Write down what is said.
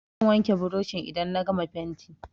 Zan wanke burushin idan na gama fenti.